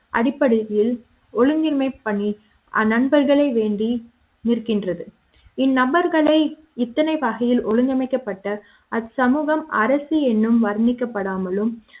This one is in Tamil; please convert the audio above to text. அடிப்படையில் ஒழுங்கின்மை பணி நண்பர்களை வேண்டி இருக்கின்றது இந் நபர்களை இத்தனை வகையில் ஒழுங்கமைக்கப்பட்ட அச்சமூக ம் அரசு என்னும் வர்ணிக்க படாமலும்